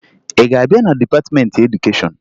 Ị ga-abịa na dịpatịmentị edukeshọn?